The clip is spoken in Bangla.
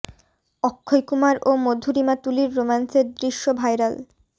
অক্ষয় কুমার ও মধুরিমা তুলির রোমান্সের দৃশ্য ভাইরাল